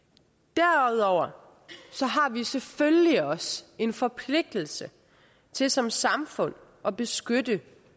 derudover har vi selvfølgelig også en forpligtelse til som samfund at beskytte